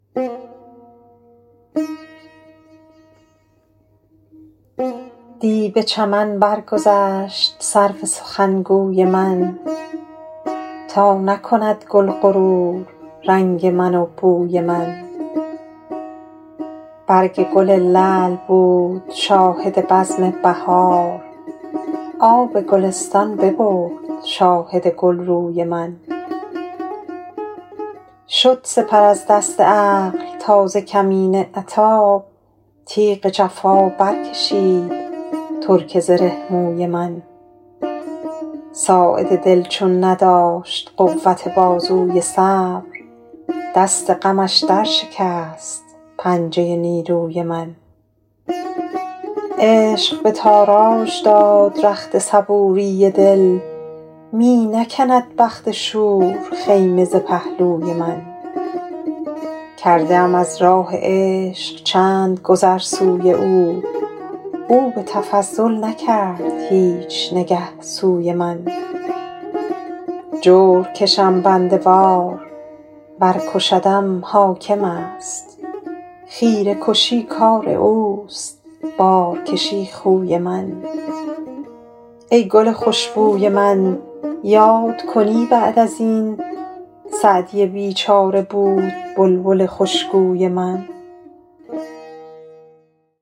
دی به چمن برگذشت سرو سخنگوی من تا نکند گل غرور رنگ من و بوی من برگ گل لعل بود شاهد بزم بهار آب گلستان ببرد شاهد گلروی من شد سپر از دست عقل تا ز کمین عتاب تیغ جفا برکشید ترک زره موی من ساعد دل چون نداشت قوت بازوی صبر دست غمش درشکست پنجه نیروی من عشق به تاراج داد رخت صبوری دل می نکند بخت شور خیمه ز پهلوی من کرده ام از راه عشق چند گذر سوی او او به تفضل نکرد هیچ نگه سوی من جور کشم بنده وار ور کشدم حاکم است خیره کشی کار اوست بارکشی خوی من ای گل خوش بوی من یاد کنی بعد از این سعدی بیچاره بود بلبل خوشگوی من